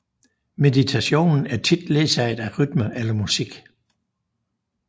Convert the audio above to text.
Meditationen er tit ledsaget af rytme eller musik